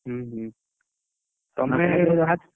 'ହୁଁ '' ତମେ